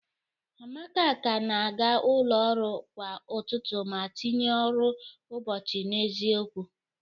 Amaka ka na-aga ụlọ ọrụ kwa ụtụtụ ma tinye ọrụ ụbọchị n'eziokwu